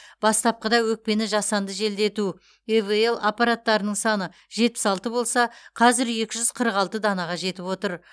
бастапқыда өкпені жасанды желдету ивл аппараттарының саны жетпіс алты болса қазір екі жүз қырық алты данаға жетіп отыр